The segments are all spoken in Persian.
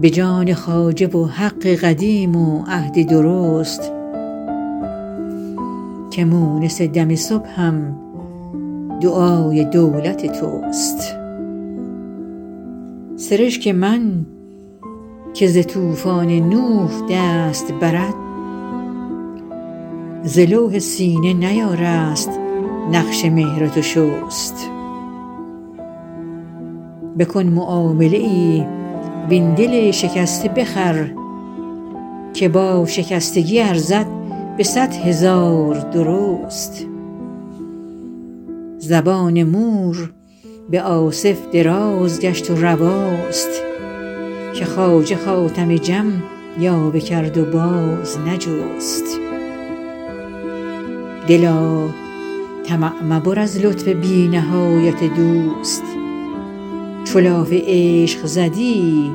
به جان خواجه و حق قدیم و عهد درست که مونس دم صبحم دعای دولت توست سرشک من که ز طوفان نوح دست برد ز لوح سینه نیارست نقش مهر تو شست بکن معامله ای وین دل شکسته بخر که با شکستگی ارزد به صد هزار درست زبان مور به آصف دراز گشت و رواست که خواجه خاتم جم یاوه کرد و باز نجست دلا طمع مبر از لطف بی نهایت دوست چو لاف عشق زدی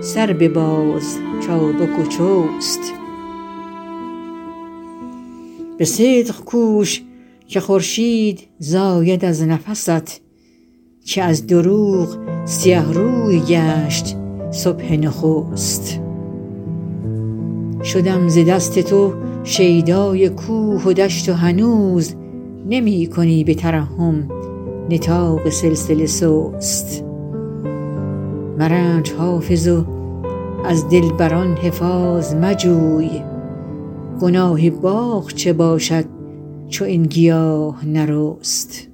سر بباز چابک و چست به صدق کوش که خورشید زاید از نفست که از دروغ سیه روی گشت صبح نخست شدم ز دست تو شیدای کوه و دشت و هنوز نمی کنی به ترحم نطاق سلسله سست مرنج حافظ و از دلبر ان حفاظ مجوی گناه باغ چه باشد چو این گیاه نرست